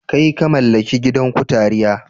Kai! ka mallaki gidan kutaria?